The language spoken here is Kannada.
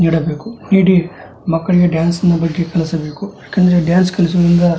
ನೀಡಬೇಕು ನೀಡಿ ಮಕ್ಕಳಿಗೆ ಡಾನ್ಸ್ ನ ಬಗ್ಗೆ ಕಲಿಸಬೇಕು ಯಾಕಂದರೆ ಡಾನ್ಸ್ ಕಲಿಸುವುದರಿಂದ --